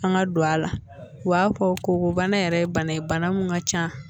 An ka don a la u b'a fɔ ko bana yɛrɛ ye bana ye bana min ka ca